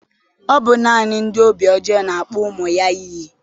Ọ bụ naanị ndị obi ojoo na akpọ ụmụ ya iyi